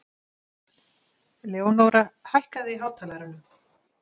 Leónóra, hækkaðu í hátalaranum.